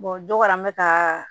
dɔ kɛra an bɛ taa